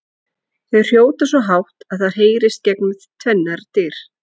Þau hrjóta svo hátt að það heyrist gegnum tvennar dyr!